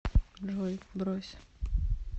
джой брось